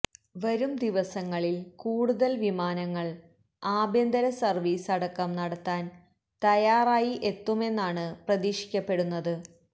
വരുംദിവസങ്ങളിൽ കൂടുതൽ വിമാനങ്ങൾ ആഭ്യന്തര സർവ്വീസ് അടക്കം നടത്താൻ തയ്യാറായി എത്തുമെന്നാണ് പ്രതീക്ഷിക്കപ്പെടുന്നത്